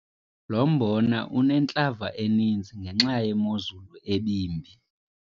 Lo mbona unentlava eninzi ngenxa yemozulu ebimbi.